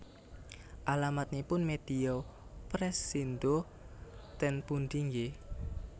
Alamatipun Media Pressindo ten pundi nggih